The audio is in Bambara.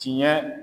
Tiɲɛ